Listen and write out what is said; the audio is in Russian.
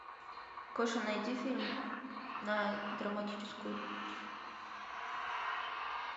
гоша найди фильм на драматическую